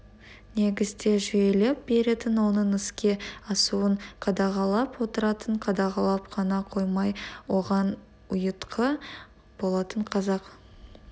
негізде жүйелеп беретін оның іске асуын қадағалап отыратын қадағалап қана қоймай оған ұйытқы болатын қазақ